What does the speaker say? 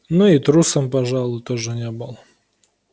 но и трусом пожалуй тоже не был